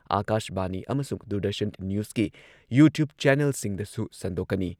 ꯑꯥꯀꯥꯁꯕꯥꯅꯤ ꯑꯃꯁꯨꯡ ꯗꯨꯔꯗꯔꯁꯟ ꯅ꯭ꯌꯨꯁꯀꯤ ꯌꯨꯇ꯭ꯌꯨꯕ ꯆꯦꯅꯦꯜꯁꯤꯡꯗꯁꯨ ꯁꯟꯗꯣꯛꯀꯅꯤ